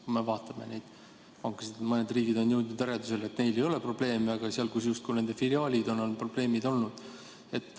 Kui me vaatame pankasid, siis mõned riigid on jõudnud järeldusele, et neil ei ole probleeme, aga seal, kus on nende filiaalid, on probleeme olnud.